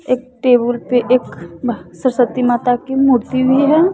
एक टेबुल पे एक अह सरस्वती माता की मूर्ति भी है।